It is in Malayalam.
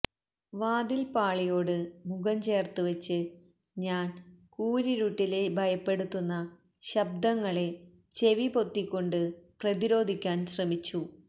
വാതിൽ പാളിയോട് മുഖം ചേർത്ത് വച്ച് ഞാൻ കൂരിരുട്ടിലെ ഭയപ്പെടുത്തുന്ന ശബ്ദങ്ങളെ ചെവിപൊത്തിക്കൊണ്ട് പ്രതിരോധിക്കാൻ ശ്രമിച്ചു